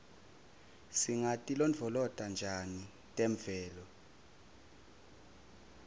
singatilondvolota njani temvelo